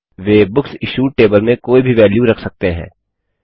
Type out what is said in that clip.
वे books issued table में कोई भी वेल्यू रख सकते हैं